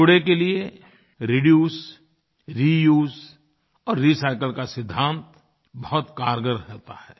कूड़े के लिए रिड्यूस रियूज और रिसाइकिल का सिद्धांत बहुत क़ारगर होता है